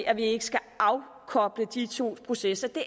at vi ikke skal afkoble de to processer